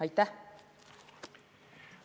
Aitäh!